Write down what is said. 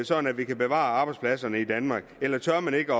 sådan at vi kan bevare arbejdspladserne i danmark eller tør man ikke